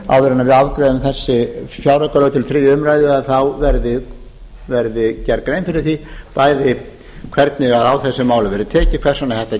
við afgreiðum þessi fjáraukalög til þriðju umræðu að þá verði gerði grein fyrir því bæði hvernig á þessu máli verði tekið hvers vegna þetta